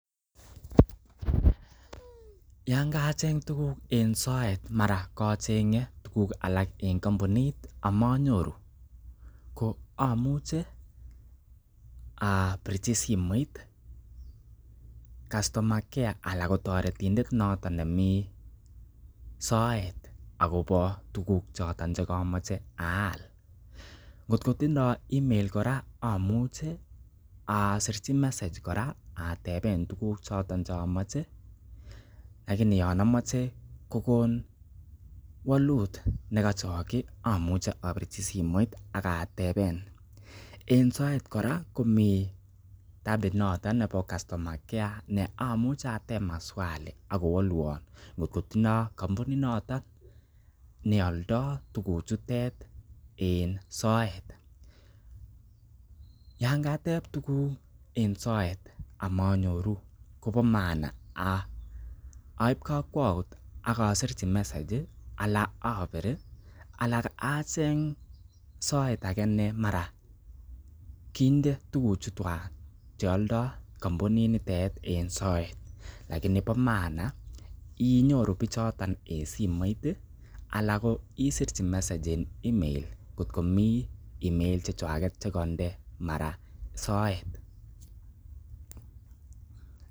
Yan kacheng tuguk en soet, mara kocheng'e tuguk alak en kompunit ama nyoru, ko amuche abirchi simoit customer care ala kotoretindet noton nemi soet agobo tuguk choto che komoche aal. Ngotko tindo email kora amuche asirchi message kora ateben tuguk choto chomoche . lakini yon amoche kogon walut nekochoki amuche apirchi simoit ak ateben. En soet kora kome appit noton nebo customer care ne amuche ateb maswali ak kowolwon kot kotindo kompunit noton neoldo tuguchutet en soet. Yanketeb tuguk en soet amanyoru kobo maana aib kokwout ak asirji message anan abir anan acheng soet age ne mara kinde tuguchuchwag che oldo kompuniinitet en soet, lakini bo maana inyoru bichoton en simoit ala isirchi message en email kotko mi email chechwaget che koinde mara soet